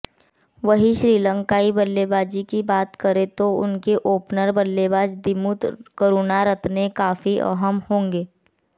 वहीं श्रीलंकाई बल्लेबाजी की बात करें तो उनके ओपनर बल्लेबाज दिमुथ करुनारत्ने काफी अहम होंगे